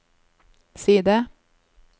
side